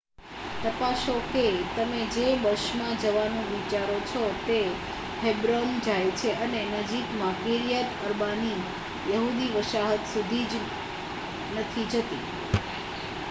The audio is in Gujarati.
તપાસો કે તમે જે બસમાં જવાનું વિચારો છો તે હેબ્રોન જાય છે અને નજીકમાં કિર્યાત અર્બાની યહૂદી વસાહત સુધી જ નથી જતી